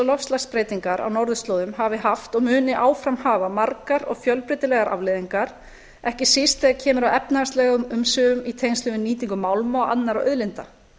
loftslagsbreytingar á norðurslóðum hafi haft og muni áfram hafa margar og fjölbreytilegar afleiðingar ekki síst þegar kemur að efnahagslegum umsvifum í tengslum við nýtingu málma og annarra auðlinda